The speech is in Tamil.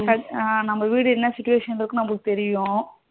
ஆமா நம்ம வீடு என்ன situation ல இருக்குன்னு நமக்கு தெரியும்.